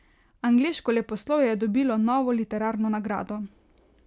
Angleško leposlovje je dobilo novo literarno nagrado.